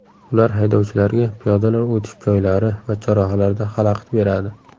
Ular haydovchilarga piyodalar o‘tish joylari va chorrahalarda xalaqit beradi.